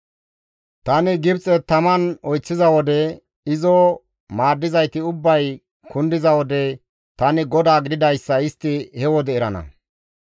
Tani Gibxen tama oyththiza wode, izo maaddizayti ubbay kundiza wode, tani GODAA gididayssa istti he wode erana.